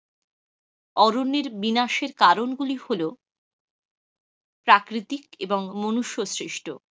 অরণ্যের বিনাশের কারনগুলি হলো প্রাকৃতিক এবং মনুষ্যের সৃষ্ট।